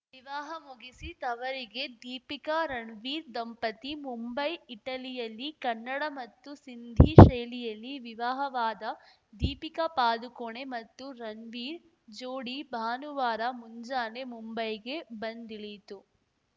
ವಿವಾಹ ಮುಗಿಸಿ ತವರಿಗೆ ದೀಪಿಕಾ ರಣವೀರ್‌ ದಂಪತಿ ಮುಂಬೈ ಇಟಲಿಯಲ್ಲಿ ಕನ್ನಡ ಮತ್ತು ಸಿಂಧಿ ಶೈಲಿಯಲ್ಲಿ ವಿವಾಹವಾದ ದೀಪಿಕಾ ಪಾದುಕೋಣೆ ಮತ್ತು ರಣ್ವೀರ್‌ ಜೋಡಿ ಭಾನುವಾರ ಮುಂಜಾನೆ ಮುಂಬೈಗೆ ಬಂದಿಳಿಯಿತು